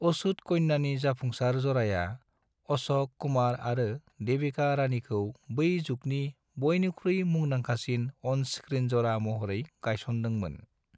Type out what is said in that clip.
अछूत कन्यानि जाफुंसार जराया अशक कुमार आरो देविका रानीखौ बै जुगनि बयनिख्रुइ मुंदांखासिन अन स्क्रीन जरा महरै गायसनदोंमोन।।